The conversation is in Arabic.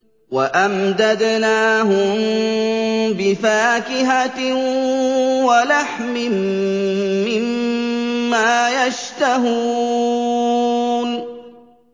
وَأَمْدَدْنَاهُم بِفَاكِهَةٍ وَلَحْمٍ مِّمَّا يَشْتَهُونَ